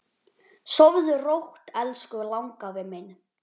Sofðu rótt elsku langafi minn.